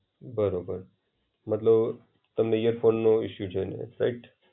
બરોબર, મતલબ તમને ઈયરફોનનો ઇશુ છે, રાઈટ?